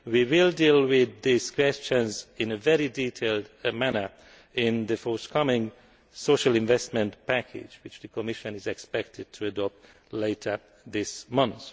We will deal with these questions in a very detailed manner in the forthcoming social investment package, which the Commission is expected to adopt later this month.